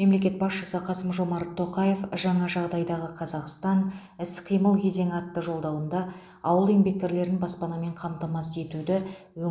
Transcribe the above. мемлекет басшысы қасым жомарт тоқаев жаңа жағдайдағы қазақстан іс қимыл кезеңі атты жолдауында ауыл еңбеккерлерін баспанамен қамтамасыз етуді